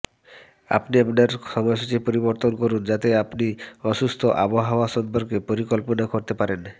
আপনি আপনার সময়সূচী পরিবর্তন করুন যাতে আপনি অসুস্থ আবহাওয়া সম্পর্কে পরিকল্পনা করতে পারেন